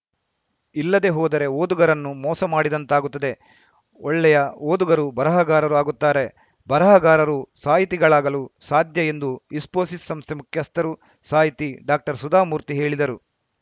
ಇಲ್ಲದೆ ಹೋದರೆ ಓದುಗರನ್ನು ಮೋಸ ಮಾಡಿದಂತಾಗುತ್ತದೆ ಒಳ್ಳೆಯ ಓದುಗರು ಬರಹಗಾರರು ಆಗುತ್ತಾರೆ ಬರಹಗಾರರು ಸಾಹಿತಿಗಳಾಗಲು ಸಾಧ್ಯ ಎಂದು ಇಸ್ಫೋಸಿಸ್‌ ಸಂಸ್ಥೆ ಮುಖ್ಯಸ್ಥರು ಸಾಹಿತಿ ಡಾಕ್ಟರ್ ಸುಧಾ ಮೂರ್ತಿ ಹೇಳಿದರು